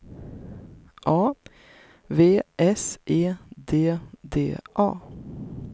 A V S E D D A